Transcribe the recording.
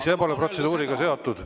See pole protseduuriga seotud.